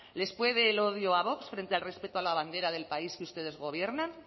les puede el odio a vox frente al respeto a la bandera del país que ustedes gobiernan